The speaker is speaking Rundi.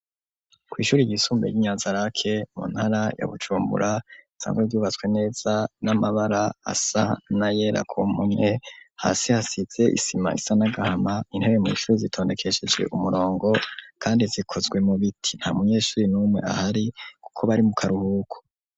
Kw'ishuri ryisumbuye ry'inyanzarake mu ntara ya Bujumbura, risanzwe ryubatswe neza, n'amabara asa na yera ku mpome, hasi hasize isima isa n'agahama, intebe mw'ishuri zitondekesheje umurongo kandi zikozwe mu biti, nta munyeshuri n'umwe ahari kuko bari mu karuhuko.